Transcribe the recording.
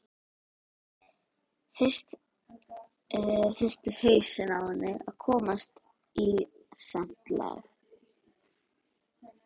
Fyrst þurfi hausinn á henni að komast í samt lag.